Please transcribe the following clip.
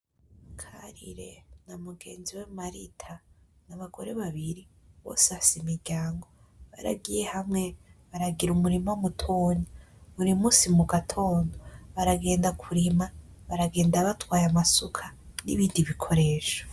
Karire na mugenziwe marita n'abagore babiri bose bafise imiryango baragiye hamwe baragira umurima mutoya buri munsi mugatondo baragenda kurima baragenda batwaye amasuka n'ibindi bikoresho.